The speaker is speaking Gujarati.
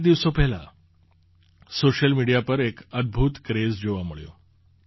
કેટલાક દિવસો પહેલાં સૉશિયલ મીડિયા પર એક અદભૂત ક્રેઝ જોવા મળ્યો